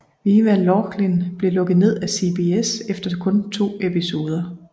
Viva Laughlin blev lukket ned af CBS efter kun 2 episoder